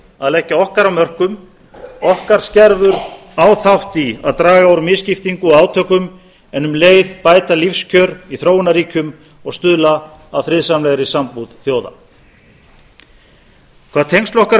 að leggja okkar af mörkum okkar skerfur á þátt í að draga úr misskiptingu og átökum en um leið bæta lífskjör í þróunarríkjum og stuðla að friðsamlegri sambúð þjóða hvað tengsl okkar við